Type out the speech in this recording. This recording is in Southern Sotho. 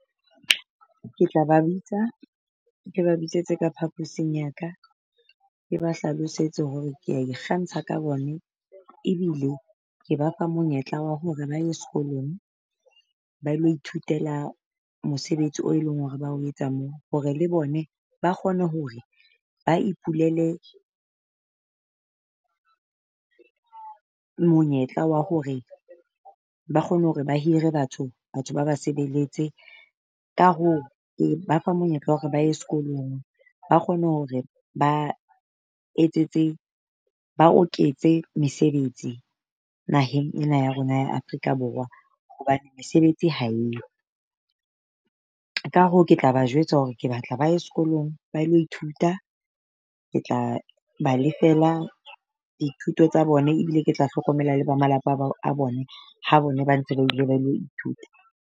Ke tla ba bitsa, ke ba bitsetse ka phaposing ya ka, ke ba hlalosetse hore kea ikgantsha ka bone ebile ke ba fa monyetla wa hore ba ye sekolong. Ba ilo ithutela mosebetsi o e leng hore ba o etsa moo, hore le bone ba kgone hore ba ipulele monyetla wa hore ba kgone hore ba hire batho, batho ba ba sebeletse. Ka hoo ke ba fa monyetla wa hore ba ye sekolong, ba kgone hore ba etsetse ba oketse mesebetsi naheng ena ya rona ya Afrika Borwa hobane mesebetsi ha e yo. Ka hoo ke tla ba jwetsa hore ke batla ba e sekolong ba lo ithuta. Ke tla ba lefela dithuto tsa bone, ebile ke tla hlokomela le ba malapa ba a bone ha bona ba ntse ba ile ba lo ithuta.